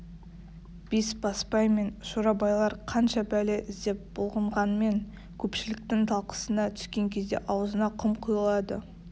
бесбасбай мен шорабайлар қанша бәле іздеп бұлқынғанмен көпшіліктің талқысына түскен кезде аузына құм құйылады